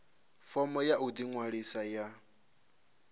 fomo ya u ḓiṅwalisa ya